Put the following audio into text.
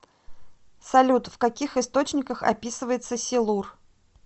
салют в каких источниках описывается силур